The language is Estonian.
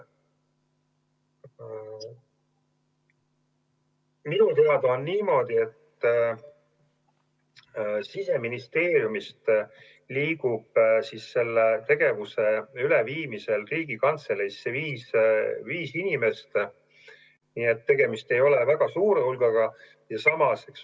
Minu teada on niimoodi, et Siseministeeriumist liigub selle tegevuse üleviimisel Riigikantseleisse viis inimest, nii et tegemist ei ole väga suure hulgaga.